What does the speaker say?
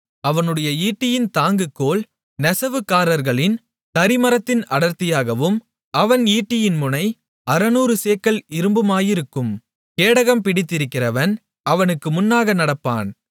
அவனுடைய ஈட்டியின் தாங்குக்கோல் நெசவுக்காரர்களின் தறிமரத்தின் அடர்த்தியாகவும் அவன் ஈட்டியின் முனை அறுநூறு சேக்கல் இரும்புமாயிருக்கும் கேடகம் பிடிக்கிறவன் அவனுக்கு முன்னாக நடப்பான்